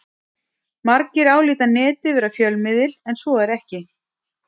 Margir álíta Netið vera fjölmiðil en svo er ekki.